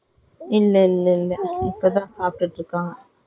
இல்லை இல்லை இல்லை இப்போதான் சாப்டுகிட்டு இருக்காங்க.